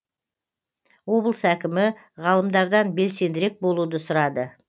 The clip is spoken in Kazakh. облыс әкімі ғалымдардан белсендірек болуды сұрады